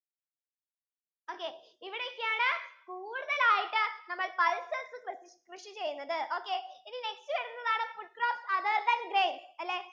okay ഇവിടെ ഒക്കെ ആണ് കൂടുതൽ ആയിട്ടു നമ്മൾ pulses കൃഷിചെയ്യുന്നത് ഒകായ് ഇനി next വരുന്നതാണ് food crops other than grains